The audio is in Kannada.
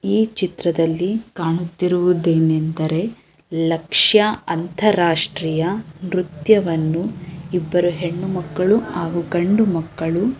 ಈ ಚಿತ್ರದಲ್ಲಿ ಕಾಣುತಿರುದನ್ನು ಏನಂದ್ರೆ ಲಕ್ಷ್ಯ ಅಂತರ್ ರಾಷ್ಟೀಯ ನೃತ್ಯವನ್ನು ಇಬ್ಬರು ಹೆಣ್ಣು ಮಕ್ಕಳನ್ನು ಹಾಗು ಗಂಡು ಮಕ್ಕಳನ್ನು.--